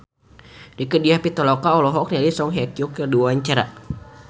Rieke Diah Pitaloka olohok ningali Song Hye Kyo keur diwawancara